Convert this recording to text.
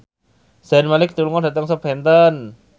Zayn Malik lunga dhateng Southampton